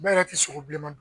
N yɛrɛ tɛ sogo bilenman dun.